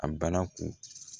A bara kun